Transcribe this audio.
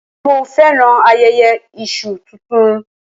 Mo féràn ayẹyẹ Iṣu tuntun.